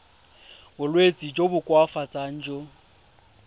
bolwetsi jo bo koafatsang jo